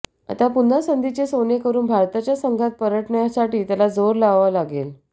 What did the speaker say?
आता पुन्हा संधीचे सोने करून भारताच्या संघात परतण्यासाठी त्याला जोर लावावा लागेल